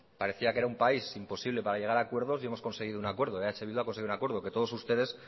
parecía que era un país imposible para llegar a acuerdos y hemos conseguido un acuerdo eh bildu ha conseguido un acuerdo que todos ustedes